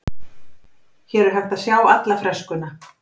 Hér er hægt að sjá alla freskuna.